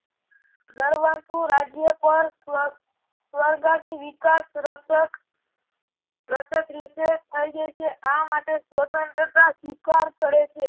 દર્વાખુ રાજ્ય પર સ્વર્ગની વિકાશ રક્ષક થઈ જાય છે આ માટે સ્વતંત્રતા ધિક્કાર કરે છે.